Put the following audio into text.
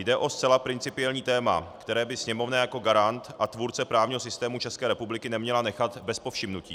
Jde o zcela principiální téma, které by Sněmovna jako garant a tvůrce právního systému České republiky neměla nechat bez povšimnutí.